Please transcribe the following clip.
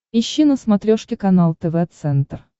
ищи на смотрешке канал тв центр